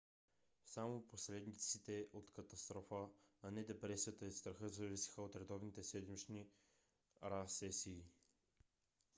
само последиците от катастрофа а не депресията и страха зависеха от редовните седмични pa сесии